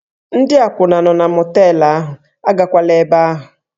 Ndị akwụna nọ na mọteelụ ahụ, agakwala ebe ahụ!